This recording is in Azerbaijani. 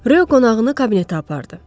Röy qonağını kabinetə apardı.